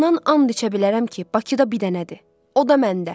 Bundan an içə bilərəm ki, Bakıda bir dənədir, o da məndə.